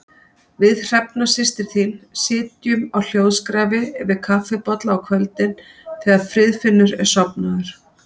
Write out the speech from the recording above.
Við Hrefna systir þín sitjum á hljóðskrafi yfir kaffibolla á kvöldin þegar Friðfinnur er sofnaður.